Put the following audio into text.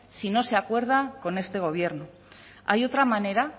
si no se acuerda con este gobierno hay otra manera